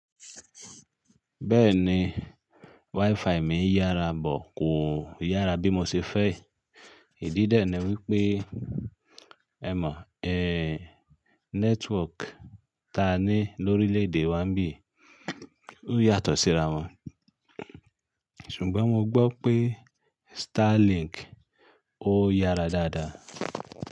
Bẹ́ẹ̀ni, WiFi mi yára bọ̀ kò yára bí mo ṣe fẹ́. Ìdí dẹ̀ náà wípé, ẹ mọ̀, ẹ́ network ta ní lórílẹ̀ èdè wa ń bí, ó yàtọ̀ síra wọn. Ṣùgbọ́n mo gbọ́ pé Starlink ó yára dáadáa.